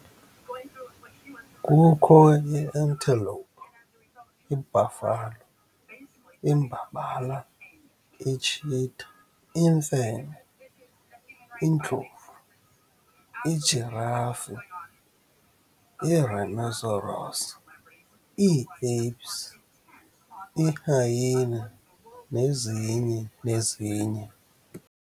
Kukho ii-antelope, I-buffalo, imbabala, i-cheetah, imfene, indlovu, i-giraffe, i-rhinoceros, ii-apes, i-hyaena, nezinye nezinye.